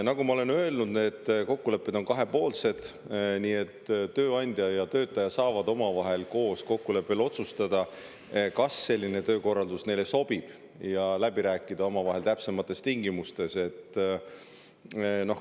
Nagu ma olen öelnud, need kokkulepped on kahepoolsed, nii et tööandja ja töötaja saavad omavahelise kokkuleppega otsustada, kas neile selline töökorraldus sobib, ja läbi rääkida täpsemad tingimused.